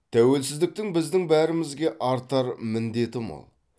тәуелсіздіктің біздің бәрімізге артар міндеті мол